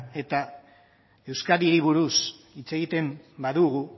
eta euskadiri buruz hitz egiten badugu